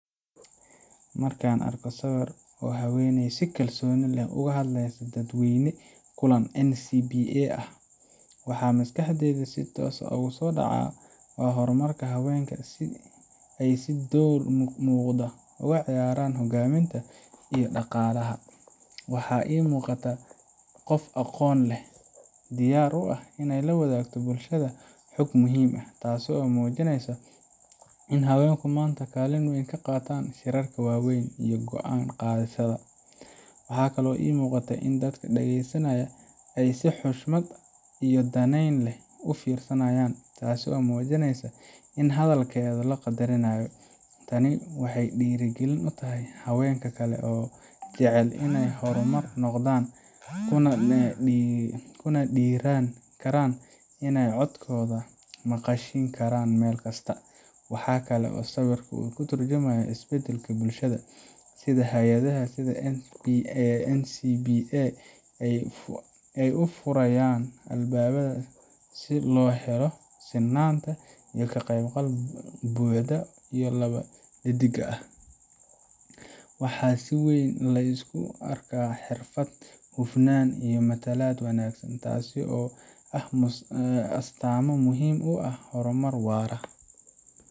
Marka aan arko sawirkan oo haweeney si kalsooni leh ula hadlaysay dadweyne kulan NCBA ah, waxa maskaxdayda si toos ah ugu soo dhacaya hormarka haweenka iyo sida ay door muuqda uga ciyaarayaan hogaaminta iyo dhaqaalaha. Waxa ay u muuqataa qof aqoon leh, diyaar u ah in ay la wadaagto bulshada xog muhiim ah, taasoo muujinaysa in haweenku maanta kaalin weyn ka qaataan shirarka waaweyn iyo go’aan qaadashada. Waxaa kale oo muuqata in dadka dhagaysanaya ay si xushmad iyo danayn leh u fiirinayaan, taasoo muujinaysa in hadalkeeda la qadarinayo. Tani waxay dhiirrigelin u tahay haweenka kale ee jecel inay hormar noqdaan, kuna dhiirran karaan in ay codkooda maqashiin karaan meel kasta. Waxa kale oo sawirku ka tarjumayaa isbedelka bulshada sida hay’adaha sida NCBA ay u furayaan albaabada si loo helo sinnaanta iyo ka qaybgal buuxa oo lab iyo dhedigba ah. Waxaa si weyn la isugu arkaa xirfad, hufnaan iyo matalaad wanaagsan, taasoo ah astaamo muhiim u ah horumar waara